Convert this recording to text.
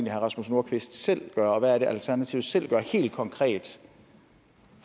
herre rasmus nordqvist selv gør og hvad alternativet selv gør helt konkret